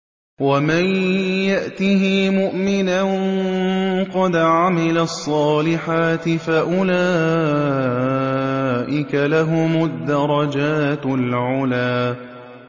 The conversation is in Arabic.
وَمَن يَأْتِهِ مُؤْمِنًا قَدْ عَمِلَ الصَّالِحَاتِ فَأُولَٰئِكَ لَهُمُ الدَّرَجَاتُ الْعُلَىٰ